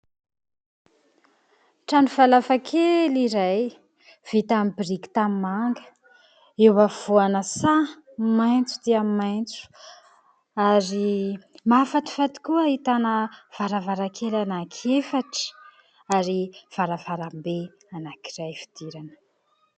trano falafa kely iray vita amin'ny biriky tanimanga eo afovoana saha maintso dia maintso ary mafatifaty koa ahitana varavaran-kely anaky efatra ary varavarambe anak'iray fidirana